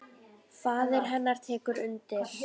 Faðir hennar tekur undir.